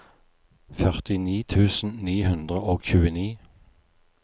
førtini tusen ni hundre og tjueni